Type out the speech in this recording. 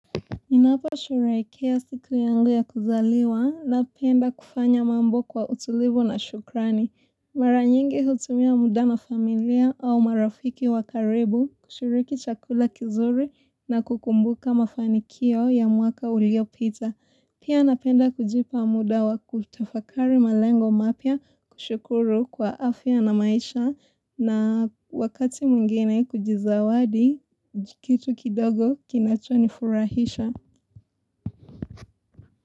Ninaposherehekea siku yangu ya kuzaliwa napenda kufanya mambo kwa utulivu na shukrani. Maranyingi hutumia muda na familia au marafiki wa karibu kushuriki chakula kizuri na kukumbuka mafanikio ya mwaka uliopita. Pia napenda kujipa muda wa kutafakari malengo mapya kushukuru kwa afya na maisha na wakati mwingine kujizawadi kitu kidogo kinachonifurahisha.